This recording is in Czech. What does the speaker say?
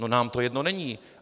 No, nám to jedno není.